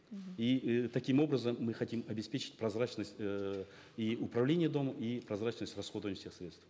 мхм и э таким образом мы хотим обеспечить прозрачность эээ и управления домом и прозрачность расходуемых всех средств